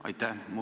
Aitäh!